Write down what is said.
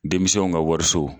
Denmisɛnw ka wariso.